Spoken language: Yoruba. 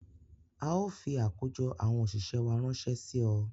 Ào fi àkójọ àwọn òṣìṣẹ́ wá ránṣẹ́ sí ọ